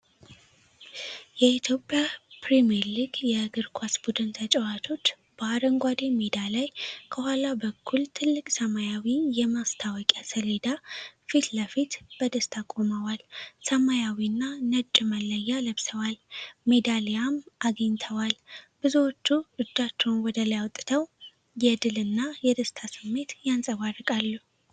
የኢትዮጵያ ፕሪሜርሊግ የእግር ኳስ ቡድን ተጫዋቾች በአረንጓዴ ሜዳ ላይ ከኋላ በኩል ትልቅ ሰማያዊ የማስታወቂያ ሰሌዳ ፊት ለፊት በደስታ ቆመዋል። ሰማያዊና ነጭ መለያ ለብሰዋል፤ ሜዳሊያም አግኝተዋል፤ ብዙዎቹ እጃቸውን ወደ ላይ አውጥተው የድል እና የደስታ ስሜት ያንፀባርቃሉ።